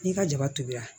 N'i ka jaba tobira